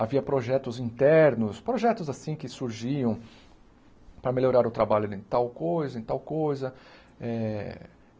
Havia projetos internos, projetos assim que surgiam para melhorar o trabalho em tal coisa, em tal coisa eh.